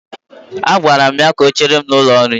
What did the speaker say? Agwara m ya ka o chere m n'ụlọ nri.